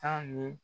San nin